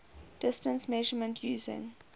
distance measurement using